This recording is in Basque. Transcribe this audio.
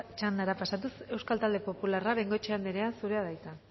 txandara pasatuz euskal talde popularra bengoechea andrea zurea da hitza